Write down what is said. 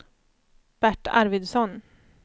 Bert Arvidsson